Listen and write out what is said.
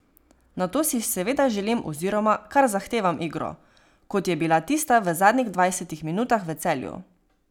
Nato si seveda želim oziroma kar zahtevam igro, kot je bila tista v zadnjih dvajsetih minutah v Celju.